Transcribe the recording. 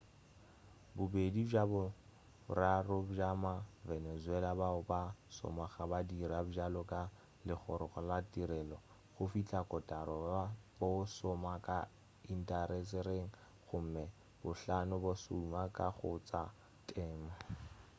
bobedi bja boraro bja ma-venezuela bao ba šomago ba dira bjalo ka legorong la tirelo go fihla kotara bo šoma ka intasetereng gomme bohlano bo šoma ka go tša temo